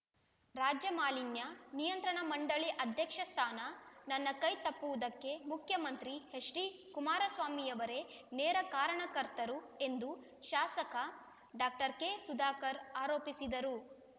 ರಾಜ್ಯ ಮಾಲಿನ್ಯ ನಿಯಂತ್ರಣ ಮಂಡಳಿ ಅಧ್ಯಕ್ಷ ಸ್ಥಾನ ನನ್ನ ಕೈ ತಪ್ಪುವುದಕ್ಕೆ ಮುಖ್ಯಮಂತ್ರಿ ಹೆಚ್ಡಿ ಕುಮಾರಸ್ವಾಮಿಯವರೇ ನೇರ ಕಾರಣಕರ್ತರು ಎಂದು ಶಾಸಕ ಡಾಕ್ಟರ್ ಕೆ ಸುಧಾಕರ್ ಆರೋಪಿಸಿದರು